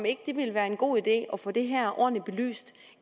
ikke ville være en god idé at få det her ordentligt belyst